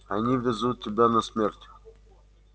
они везут тебя на смерть